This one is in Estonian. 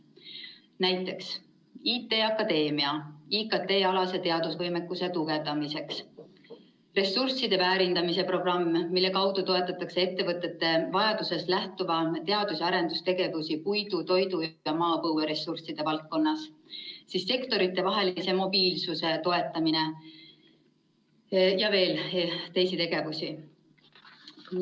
Näiteks, IT Akadeemia IKT‑alase teadusvõimekuse tugevdamiseks ressursside väärindamise programm, mille kaudu toetatakse ettevõtete vajadusest lähtuvaid teadus‑ ja arendustegevusi puidu, toidu ja maapõueressursside valdkonnas, sektoritevahelise mobiilsuse toetamine ja on veel teisi tegevusi.